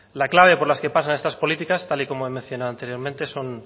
la clave por las que pasan estas políticas tal y como he mencionado anteriormente son